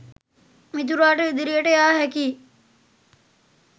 මිතුරාට ඉදිරියට යා හැකි